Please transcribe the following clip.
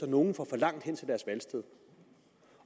nogle får for langt hen til deres valgsted